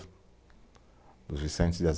Dos Vicentes de